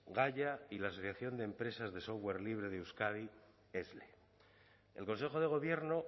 gaia y la asociación de empresas de software libre de euskadi esle el consejo de gobierno